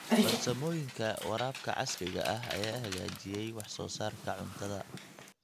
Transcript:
Farsamooyinka waraabka casriga ah ayaa hagaajiyay wax soo saarka cuntada.